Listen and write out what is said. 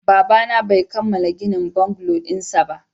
Babana bai kammala ginin bungalow dinsa ba